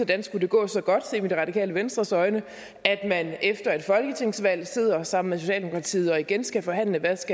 det skulle gå så godt set med det radikale venstres øjne at man efter et folketingsvalg sidder sammen med socialdemokratiet og igen skal forhandle hvad